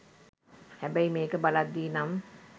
හැබැයි මේක බලද්දි නම්